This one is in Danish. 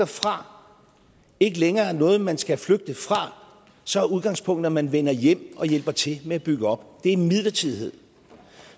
fra ikke længere er noget man skal flygte fra så er udgangspunktet at man vender hjem og hjælper til med at bygge op det er midlertidighed